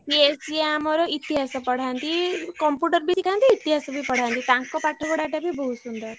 ସିଏ ସିଏ ଆମର ଇତିହାସ ପଢାନ୍ତି Computer ବି ଶିଖାନ୍ତି ଇତିହାସ ବି ପଢାନ୍ତି ତାଙ୍କ ପାଠ ପଢା ଟା ବି ବହୁତ ସୁନ୍ଦର।